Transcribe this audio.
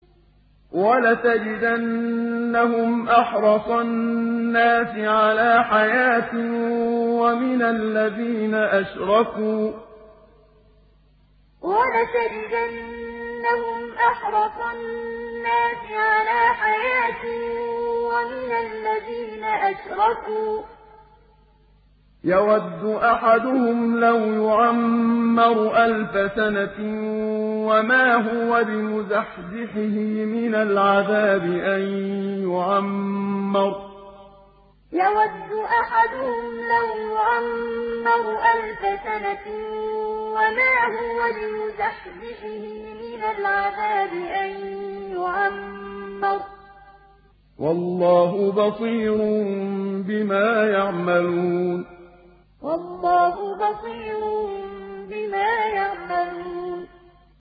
وَلَتَجِدَنَّهُمْ أَحْرَصَ النَّاسِ عَلَىٰ حَيَاةٍ وَمِنَ الَّذِينَ أَشْرَكُوا ۚ يَوَدُّ أَحَدُهُمْ لَوْ يُعَمَّرُ أَلْفَ سَنَةٍ وَمَا هُوَ بِمُزَحْزِحِهِ مِنَ الْعَذَابِ أَن يُعَمَّرَ ۗ وَاللَّهُ بَصِيرٌ بِمَا يَعْمَلُونَ وَلَتَجِدَنَّهُمْ أَحْرَصَ النَّاسِ عَلَىٰ حَيَاةٍ وَمِنَ الَّذِينَ أَشْرَكُوا ۚ يَوَدُّ أَحَدُهُمْ لَوْ يُعَمَّرُ أَلْفَ سَنَةٍ وَمَا هُوَ بِمُزَحْزِحِهِ مِنَ الْعَذَابِ أَن يُعَمَّرَ ۗ وَاللَّهُ بَصِيرٌ بِمَا يَعْمَلُونَ